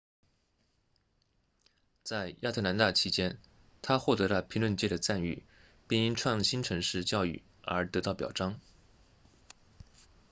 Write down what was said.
在亚特兰大期间她获得了评论界的赞誉并因创新城市教育而得到表彰